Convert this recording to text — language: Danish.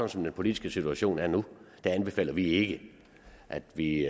som den politiske situation er nu anbefaler vi ikke at vi